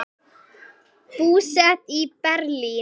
Búsett í Berlín.